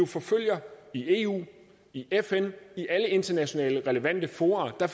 forfølger i eu i fn i alle internationale relevante fora